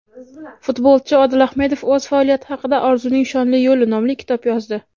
Futbolchi Odil Ahmedov o‘z faoliyati haqida "Orzuning shonli yo‘li" nomli kitob yozdi.